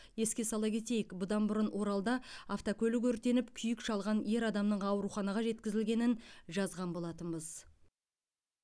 еске сала кетейік бұдан бұрын оралда автокөлік өртеніп күйік шалған ер адамның ауруханаға жеткізілгенін жазған болатынбыз